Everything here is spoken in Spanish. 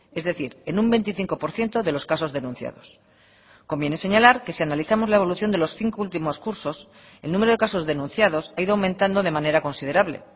es decir en un veinticinco por ciento de los casos denunciados conviene señalar que si analizamos la evolución de los cinco últimos cursos el número de casos denunciados ha ido aumentando de manera considerable